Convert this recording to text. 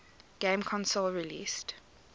game console released